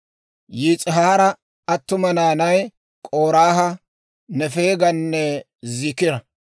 Yis'ihaara attuma naanay, K'oraaha, Nefeeganne Ziikira.